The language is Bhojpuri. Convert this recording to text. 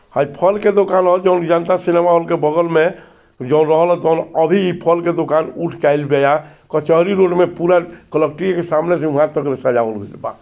हई फल के दोकान हअ जाउन की जनता सिनेमा हॉल के बगल मे अभी इ फल के दुकान उठ जाई कचहरी रोड में पूरा कलेक्ट्री के सामने से ऊहा तक ले सजावल गइल वाह।